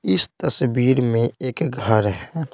इस तस्वीर में एक घर है।